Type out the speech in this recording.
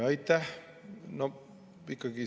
Aitäh!